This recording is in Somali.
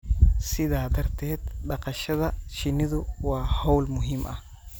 Sidaa darteed, dhaqashada shinnidu waa hawl muhiim ah